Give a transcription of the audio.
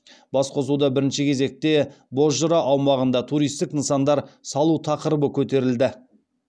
басқосуда бірінші кезекте бозжыра аумағында туристік нысандар салу тақырыбы көтерілді